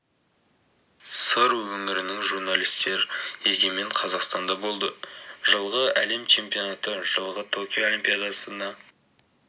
сыр өңірінің журналистері егемен қазақстанда болды жылғы әлем чемпионаты жылғы токио олимпиадасына